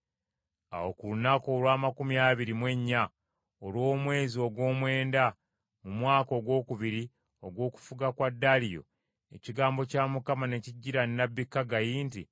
Awo ku lunaku olw’amakumi abiri mu ennya olw’omwezi ogw’omwenda mu mwaka ogwokubiri ogw’okufuga kwa Daliyo, ekigambo kya Mukama ne kijjira nnabbi Kaggayi nti,